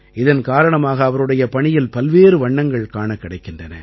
இதன் காரணமாக அவருடைய பணியில் பல்வேறு வண்ணங்கள் காணக் கிடைக்கின்றன